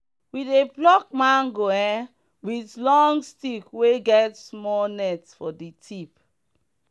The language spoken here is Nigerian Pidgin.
we dey pluck mango um with long stick wey get small net for the tip.